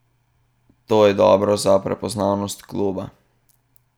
To je dobro za prepoznavnost kluba.